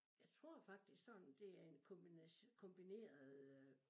Jeg tror faktisk sådan det er en kombineret øh